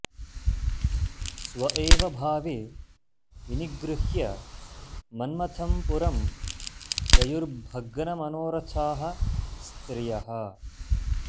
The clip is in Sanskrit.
स्व एव भावे विनिगृह्य मन्मथं पुरं ययुर्भग्नमनोरथाः स्त्रियः